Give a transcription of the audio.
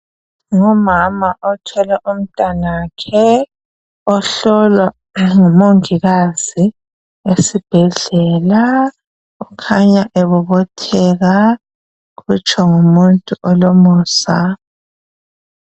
Ngumama othwele umtanakhe ohlolwa ngumongikaza esibhedlela, kukhanya ebobotheka kutsho ngumuntu olomusa.